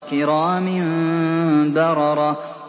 كِرَامٍ بَرَرَةٍ